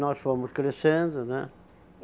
Nós fomos crescendo, né?